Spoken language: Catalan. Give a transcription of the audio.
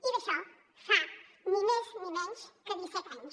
i d’això fa ni més ni menys que disset anys